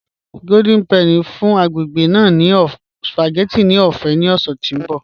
Golden Penny n fún agbègbè ná ní spagétì ọ̀fẹ̀ ni ọ̀ṣẹ̀ tó nbọ̀